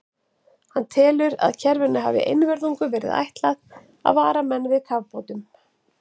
Hann telur, að kerfinu hafi einvörðungu verið ætlað að vara menn við kafbátum.